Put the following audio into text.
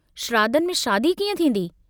शिराधनि में शादी कीअं थींदी?